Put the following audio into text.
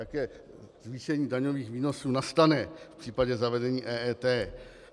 Jaké zvýšení daňových výnosů nastane v případě zavedení EET.